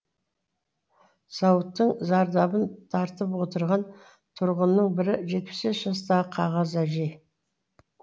зауыттың зардабын тартып отырған тұрғынның бірі жетпіс бес жастағы қағаз әжей